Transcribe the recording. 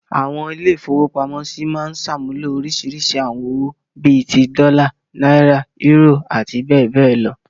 Àwọn ilé-ìfowópamọ́sí máa ń ṣàmúlò oríṣiríṣi àwọn owó, bí i ti; dọ́là, náírà, eúrò àti bẹ́ẹ̀ bẹ́ẹ̀ lọ.